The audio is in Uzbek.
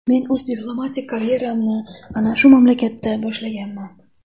Men o‘z diplomatik karyeramni ana shu mamlakatdan boshlaganman.